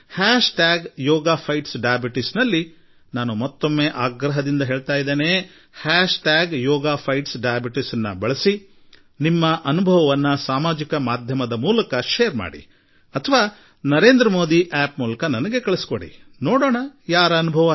hash tag yoga fights diabetes ನಲ್ಲಿ ಇನ್ನೊಮ್ಮೆ ಹೇಳುತ್ತೇನೆ hashtag yoga fights diabetes ನ್ನು ಬಳಸಿಕೊಂಡು ತಮ್ಮ ಅನುಭವವನ್ನು ಸಾಮಾಜಿಕ ಮಾಧ್ಯಮದಲ್ಲಿ ಹಂಚಿಕೊಳ್ಳಿ ಅಥವಾ ನನ್ನ ನರೇಂದ್ರ ಮೋದಿ ಆಪ್ ಗೆ ಕಳುಹಿಸಿ ಎಂದು ನಿಮ್ಮಲ್ಲಿ ನಾನು ಮನವಿ ಮಾಡುತ್ತೇನೆ